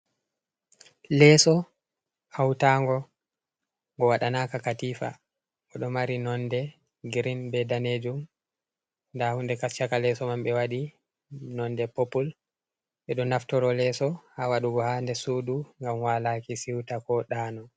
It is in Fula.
Leeso hawtaango ngo, ngo waɗanaka katiifa, boo ɗo mari nonnde girin bee daneejum, ndaa hunde haa caka leeso man ɓe waɗi nonnde popul, ɓe ɗo naftoro leedo haa waɗugo haa nder suudu ngam walaaki siwta, ko ɗaano.